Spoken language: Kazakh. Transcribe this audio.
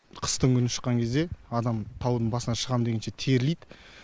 қыстыгүні шыққан кезде адам таудың басына шығам дегенше терлейді